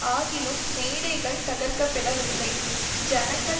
ஆகிலும் மேடைகள் தகர்க்கப்படவில்லை ஜனங்கள்